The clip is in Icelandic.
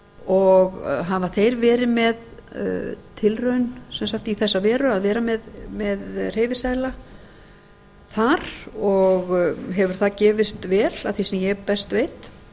og hafa þeir verið með tilraun í þessa veru að vera með hreyfiseðla þar og hefur það gefist vel að því sem ég best veit